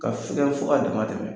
Ka figɛn fɔ ka dama tɛmɛ